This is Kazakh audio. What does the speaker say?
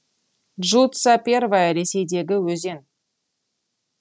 джуца первая ресейдегі өзен